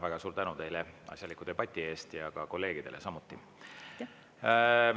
Väga suur tänu teile asjaliku debati eest ja kolleegidele samuti!